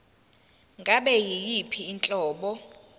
ngabe yiyiphi inhlobo